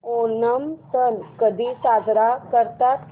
ओणम सण कधी साजरा करतात